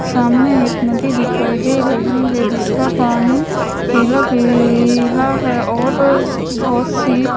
सामने एक नदी दिखाई दे रही है जिसका पानी पिला पिला है और आ बहोत सी--